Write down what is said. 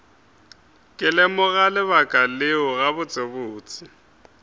ke lemoga lebaka leo gabotsebotse